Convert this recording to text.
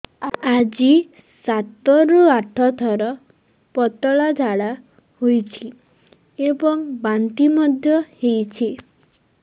ଆଜି ସାତରୁ ଆଠ ଥର ପତଳା ଝାଡ଼ା ହୋଇଛି ଏବଂ ବାନ୍ତି ମଧ୍ୟ ହେଇଛି